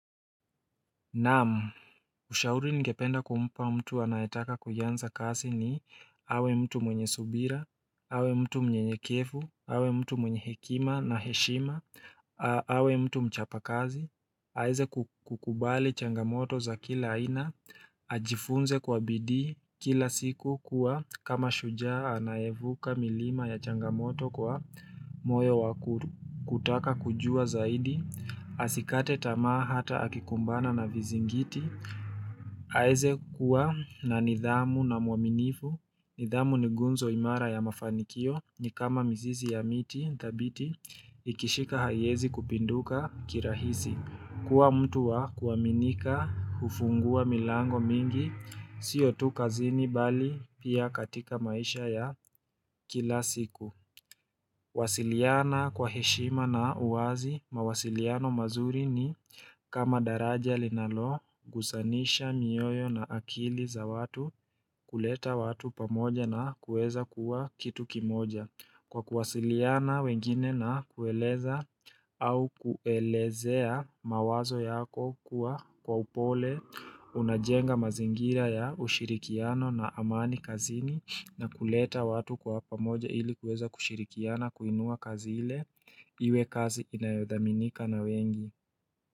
Naam, ushauri ningependa kumpa mtu anayetaka kuianza kasi ni awe mtu mwenye subira, awe mtu mwenyenyekevu, awe mtu mwenye hekima na heshima, awe mtu mchapa kazi. Aeze kukubali changamoto za kila ina, ajifunze kwa bidii kila siku kuwa kama shujaa anaevuka milima ya changamoto kwa moyo wakuru, kutaka kujua zaidi, asikate tamaa hata akikumbana na vizi ngiti. Aeze kuwa na nidhamu na mwaminifu, nidhamu ni gunzo imara ya mafanikio ni kama mizizi ya miti, thabiti, ikishika haiezi kupinduka kirahisi. Kuwa mtu wa kuaminika ufungua milango mingi, siotu kazini bali pia katika maisha ya kila siku. Wasiliana kwa heshima na uwazi, mawasiliano mazuri ni kama daraja linalo, gusanisha, mioyo na akili za watu, kuleta watu pamoja na kueza kuwa kitu kimoja. Kwa kuwasiliana wengine na kueleza au kuelezea mawazo yako kuwa kwa upole, unajenga mazingira ya ushirikiano na amani kazini na kuleta watu kwa hapa moja ili kueza kushirikiana kuinua kazile, iwe kazi inayodhaminika na wengi.